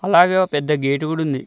అలాగే ఓ పెద్ద గేట్ కూడా ఉంది.